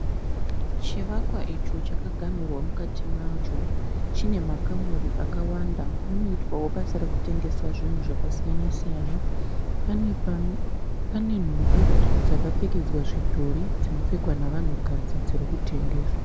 Chivakwa icho chakaganhurwa mukati macho. Chine makamuri akawanda. Munoitwao basa rekutengeswa zvinhu zvakasiyana siyana. Pane nhumbi dzakapfekedzwa zvidhori dzinopfekwa navanhukadzi dziri kutengeswa.